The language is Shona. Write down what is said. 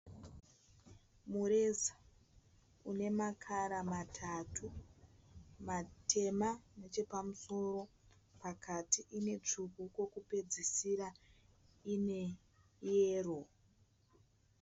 Mureza une makara matatu. Matema nechepamusoro pakati ine tsvuku pekupedzesera ine yero.